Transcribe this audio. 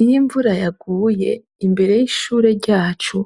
Iyo imvura yaguye, imbere y’ishure ryacu